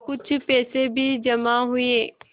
कुछ पैसे भी जमा हुए